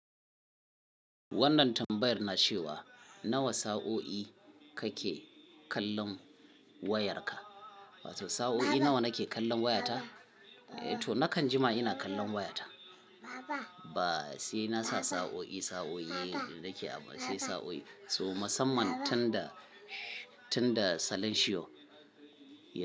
Wannan tambayar na ce wa nawa sa'o'i kake kallon wayarka? Wato sa'o'i nawa nake kallon wayata? Eh to nakan jima ina kallon wayata. Ba sai nasa sa'o'i, sa'o'i yake a ba sai sa'o'i. To musamman tun da, tun da salon shiyo.